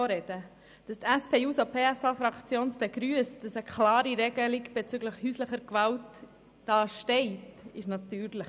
Die SP-JUSO-PSA-Fraktion begrüsst natürlich, dass eine klare Regelung bezüglich häuslicher Gewalt im Gesetz steht.